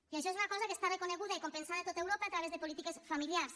i això és una cosa que està reconeguda i compensada a tot europa a través de polítiques familiars